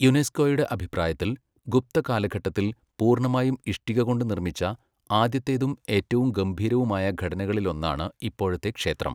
യുനെസ്കോയുടെ അഭിപ്രായത്തിൽ, 'ഗുപ്ത കാലഘട്ടത്തിൽ പൂർണ്ണമായും ഇഷ്ടിക കൊണ്ട് നിർമ്മിച്ച ആദ്യത്തേതും ഏറ്റവും ഗംഭീരവുമായ ഘടനകളിലൊന്നാണ് ഇപ്പോഴത്തെ ക്ഷേത്രം'..